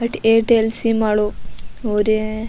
अठे Airtel sim वालो हु रियो है।